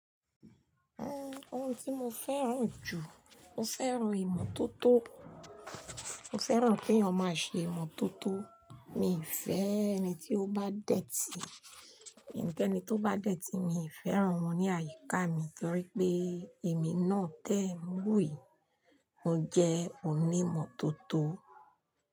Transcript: Ẹn, ohun tí mo fẹ́ràn jù, mo fẹ́ràn ìmọ́tótó. Mo fẹ́ràn kí èèyàn máa ṣe ìmọ́tótó. Miifẹ́ ẹni tí ó bá dẹ̀tì, ẹni kẹ́ni tó bá dẹ̀tì, mi fẹ́ràn wọn ní àyíká mi torí pé èmi náà tẹ̀ ń lù e, ó ń jẹ́ onímọ́tótó.